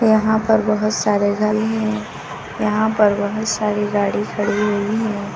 यहां पर बहुत सारे हैं यहां पर बहुत सारी गाड़ी खड़ी हुई हैं।